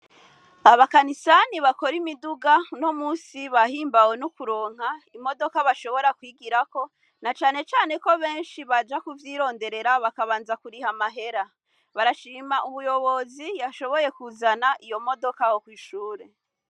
Abakanisani bakora imiduga, uno musi bahimbawe no kuronka imodoka bashobora kwigirako, na cane cane ko benshi baja kuvyironderera bakabanza kuriha amahera. Barashima umuyobozi yashoboye kuzana iyo modoka aho kw'ishure.